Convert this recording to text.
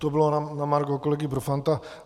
To bylo na margo kolegy Profanta.